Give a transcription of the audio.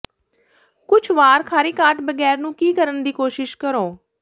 ਕੁਝ ਵਾਰ ਖਾਰੀ ਕਾਟ ਬਗੈਰ ਨੂੰ ਕੀ ਕਰਨ ਦੀ ਕੋਸ਼ਿਸ਼ ਕਰੋ